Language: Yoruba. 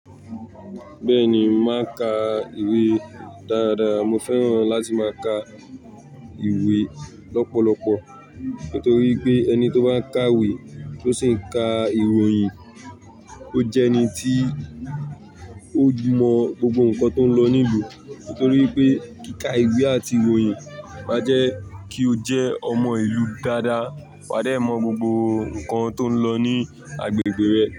Bẹ́ẹ̀ni, mo màá n ka ìwé dára. Mo fẹ́ràn láti máa ka ìwé lọ́pọ̀lọpọ̀ nítorí pé ẹni tó bá ń ka ìwé tó sì ń ka ìròyìn, ó jẹ́ ẹni tí ó mọ gbogbo nǹkan tó ń lọ ní ìlú. Nítorí pé kíka ìwé àti ìròyìn máa jẹ́ kí o jẹ́ ọmọ ìlú dáadáa. Wà á dé mọ gbogbo nǹkan tó ń lọ ní agbègbè rẹ.